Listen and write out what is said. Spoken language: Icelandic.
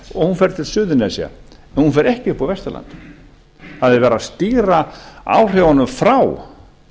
og hún fer til suðurnesja en hún fer ekki upp á vesturland það er verið að stýra áhrifunum frá